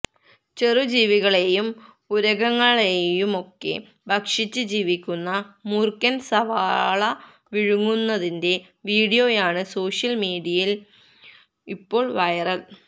ചെറു ജീവികളെയും ഉരഗങ്ങളെയുമൊക്കെ ഭക്ഷിച്ച് ജീവിക്കുന്ന മൂര്ഖന് സവാള വിഴുങ്ങുന്നതിന്റെ വീഡിയോയാണ് സോഷ്യല് മീഡിയയില് ഇപ്പോള് വൈറല്